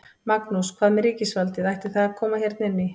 Magnús: Hvað með ríkisvaldið, ætti það að koma hérna inn í?